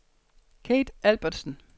Kathe Albertsen